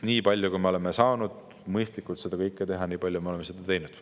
Nii palju, kui me oleme saanud mõistlikult seda kõike teha, nii palju me oleme teinud.